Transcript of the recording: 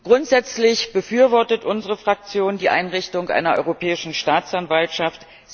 Grundsätzlich befürwortet unsere Fraktion die Einrichtung einer europäischen Staatsanwaltschaft.